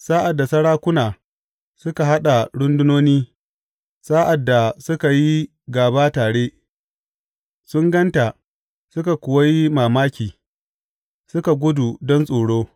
Sa’ad da sarakuna suka haɗa rundunoni, sa’ad da suka yi gaba tare, sun gan ta suka kuwa yi mamaki; suka gudu don tsoro.